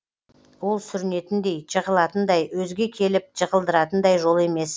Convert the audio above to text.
ол сүрінетіндей жығылатындай өзге келіп жығылдыратындай жол емес